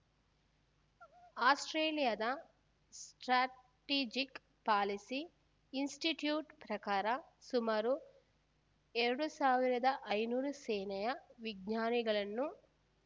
ಆಸ್ಪ್ರೇಲಿಯದ Strategic Policy Institute ಪ್ರಕಾರ ಸುಮಾರು ಎರಡು ಸಾವಿರದ ಐನೂರು ಸೇನೆಯ ವಿಜ್ಞಾನಿಗಳನ್ನು